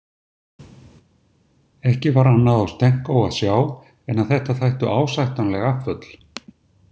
Ekki var annað á Stenko að sjá en að þetta þættu ásættanleg afföll.